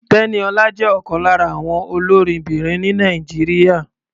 Tẹ́níọlá jẹ́ ọ̀kan lára àwọn olórinbìnrin ní Nàìjíríà.